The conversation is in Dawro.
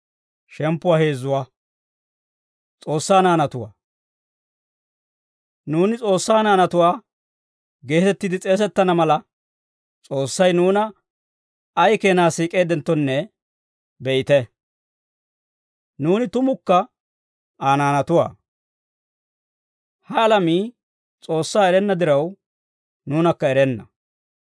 Nuuni S'oossaa naanatuwaa geetettiide s'eesettana mala, S'oossay nuuna ay keenaa siik'eeddenttonne be'ite. Nuuni tumukka Aa naanatuwaa. Ha alamii S'oossaa erenna diraw, nuunakka erenna.